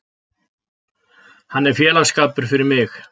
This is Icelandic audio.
Hann er félagsskapur fyrir mig.